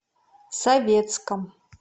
советском